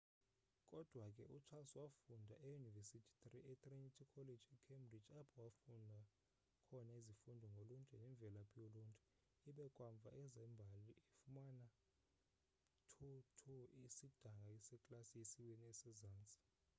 kodwa ke ucharles wafunda eyunivesithi etrinity college ecambridge apho wafunda khona izifundo ngoluntu nemvelaphi yoluntu ibe kamva ezembali efumana 2:2 isidanga seklasi yesibini esezantsi